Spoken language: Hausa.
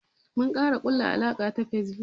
Mun kara kulla alaka ta Facebook.